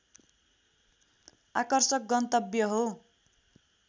आकर्षक गन्तव्य हो